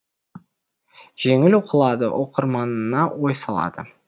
жеңіл оқылады оқырманына ой салады